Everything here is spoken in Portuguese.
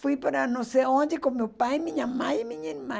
Fui para não sei onde com meu pai, minha mãe e minha irmã.